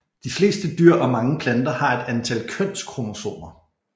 De fleste dyr og mange planter har et antal kønskromosomer